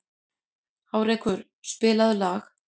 Hárekur, spilaðu lag.